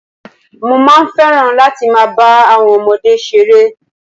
Mo fẹ́ràn láti máa ba àwon ọmọdé se ere